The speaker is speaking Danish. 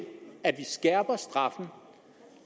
at vi skærper straffen